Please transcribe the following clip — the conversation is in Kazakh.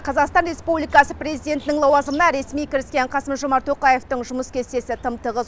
қазақстан республикасы президентінің лауазымына ресми кіріскен қасым жомарт тоқаевтың жұмыс кестесі тым тығыз